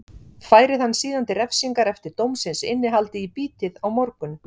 Færið hann síðan til refsingar eftir dómsins innihaldi í bítið á morgun.